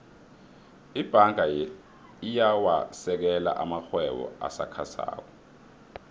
ibhanga iyawasekela amarhwebo asakhasako